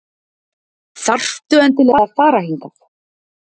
Þarftu endilega að fara hingað?